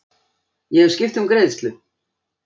Ég hef skipt um greiðslu.